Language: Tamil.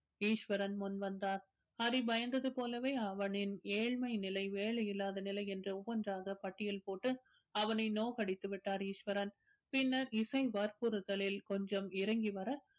ஈஸ்வரன் முன்வந்தார் ஹரி பயந்தது போலவே அவனின் ஏழ்மை நிலை வேலை இல்லாத நிலை என்று ஒவ்வொன்றாக பட்டியல் போட்டு அவனை நோகடித்து விட்டார் ஈஸ்வரன் பின்னர் இசை வற்புறுத்தலில் கொஞ்சம் இறங்கி வர